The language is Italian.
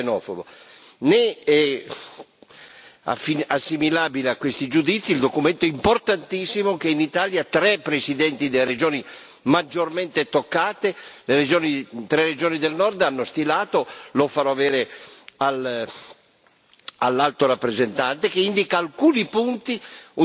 assimilabile a questi giudizi il documento importantissimo che in Italia tre presidenti delle regioni maggiormente toccate, tre regioni del Nord, hanno stilato lo farò avere all'Alto rappresentante che indica alcuni punti. È un documento equilibrato, che affronta in maniera laica,